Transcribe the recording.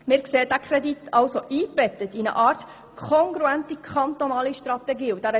Wir sehen diesen Kredit also eingebettet in eine Art kongruente kantonale Strategie für die Stärkung der Hausarztmedizin.